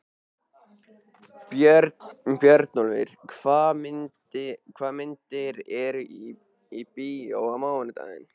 Björnólfur, hvaða myndir eru í bíó á mánudaginn?